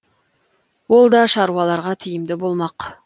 ол да шаруаларға тиімді болмақ